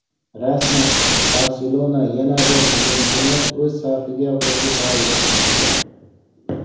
Rasman: "Barselona" yana bir hujumchini o‘z safiga qo‘shib oldi.